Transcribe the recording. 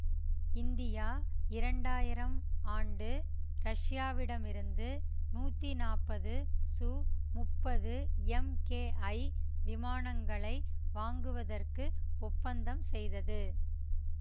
India இரண்டாயிரம் ஆண்டு ரஷ்யாவிடமிருந்து நூத்தி நாப்பது சு முப்பது எம்கேஐ விமானங்களை வாங்குவதற்கு ஒப்பந்தம் செய்தது